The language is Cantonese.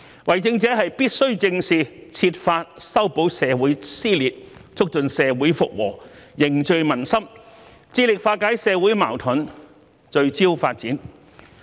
為政者必須正視這些問題，設法修補社會撕裂，促進社會復和、凝聚民心，致力化解社會矛盾、聚焦發展。